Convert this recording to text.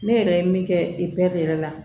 Ne yɛrɛ ye min kɛ yɛrɛ la